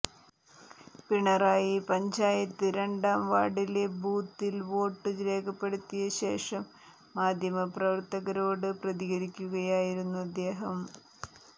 പിണറായി പഞ്ചായത്ത് രണ്ടാം വാർഡിലെ ബൂത്തിൽ വോട്ട് രേഖപ്പെടുത്തിയ ശേഷം മാധ്യമപ്രവർത്തകരോട് പ്രതികരിക്കുകയായിരുന്നു അദ്ദേഹം